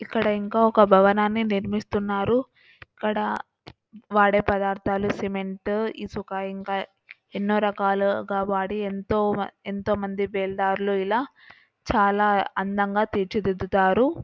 ఇక్కడ ఇంకో ఒక భవనాన్ని నిర్మిస్తున్నారు ఇక్కడ వాడే పదార్ధాలు సిమెంటు ఇసుక ఇంకా ఎన్నోరకాలుగా వాడి ఎంతో ఎంతో మంది బీల్దార్లు ఇలా చాలా అందంగా తీర్చిదిద్దుతారు అలాగే వాళ్ళ కష్టం ఎంతుంటదో దానికి తగ్గట్టుగా ఫలితం కూడా అంతే అందంగా ఒక బిల్డింగ్ ని తయారు చేస్తారు.